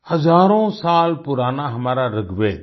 हज़ारों साल पुराना हमारा ऋग्वेद